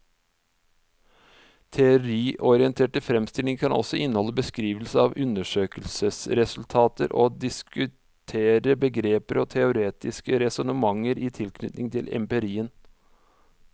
Teoriorienterte fremstillinger kan også inneholde beskrivelser av undersøkelsesresultater og diskutere begreper og teoretiske resonnementer i tilknytning til empirien.